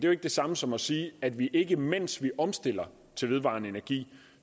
jo ikke det samme som at sige at vi ikke mens vi omstiller til vedvarende energi